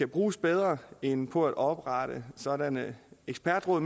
bruges bedre end på at oprette sådanne ekspertråd